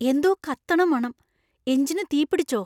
എന്തോ കത്തണ മണം. എഞ്ചിന് തീപിടിച്ചോ?